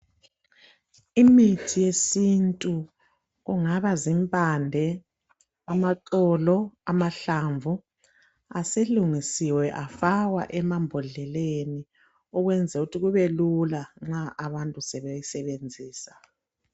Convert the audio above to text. Imithi yesintu kungaba zimpande, amaxolo, amahlamvu aselungisiwe afakwa emambodleleni ukwenzela ukuthi kubelula nxa abantu sebeyisebenzisa.